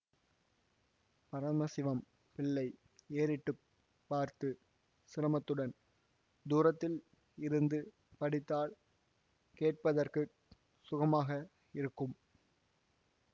பரம சிவம் பிள்ளை ஏறிட்டு பார்த்து சிரமத்துடன் தூரத்தில் இருந்து படித்தால் கேட்பதற்குச் சுகமாக இருக்கும்